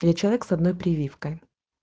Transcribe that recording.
человек с одной прививкой